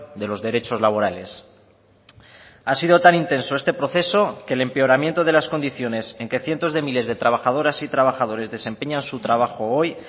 de los derechos laborales ha sido tan intenso este proceso que el empeoramiento de las condiciones en que cientos de miles de trabajadoras y trabajadores desempeñan su trabajo hoy